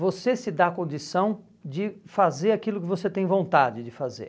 você se dar a condição de fazer aquilo que você tem vontade de fazer.